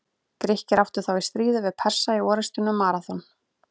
Grikkir áttu þá í stríði við Persa í orrustunni um Maraþon.